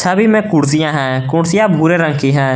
छवि में कुर्सियां है कुर्सियां भूरे रंग की हैं।